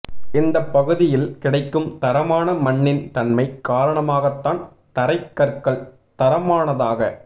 இந்தப் பகுதியில் கிடைக்கும் தரமான மண்ணின் தன்மை காரணமாகத் தான் தரைக் கற்கள் தரமானதாக